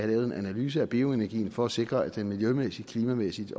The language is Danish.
lavet en analyse af bioenergien for at sikre at den miljømæssigt miljømæssigt